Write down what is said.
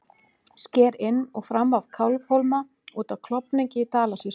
Sker inn og fram af Kálfhólma út af Klofningi í Dalasýslu.